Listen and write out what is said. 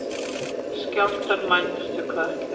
Skjálftar mældust við Kötlu